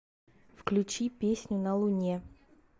включи песню на луне